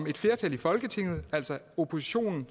et flertal i folketinget altså oppositionen